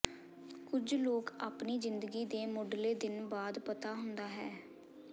ਕੁਝ ਲੋਕ ਆਪਣੀ ਜ਼ਿੰਦਗੀ ਦੇ ਮੁਢਲੇ ਦਿਨ ਬਾਅਦ ਪਤਾ ਹੁੰਦਾ ਹੈ